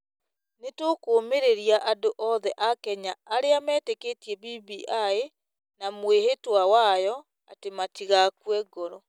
Nĩ tũkũũmĩrĩria andũ othe a Kenya arĩa metĩkĩtie BBI na mwĩhĩtwa wayo atĩ matigakue ngoro.